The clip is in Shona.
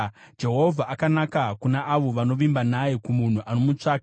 Jehovha akanaka kuna avo vanovimba naye, kumunhu anomutsvaka;